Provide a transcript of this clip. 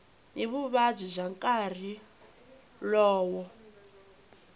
ni vuvabyi bya nkarhi lowo